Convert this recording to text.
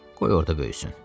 Qoy orda böyüsün.